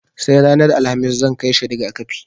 Sai ranar Alhamis zan kai shi riga-kafi.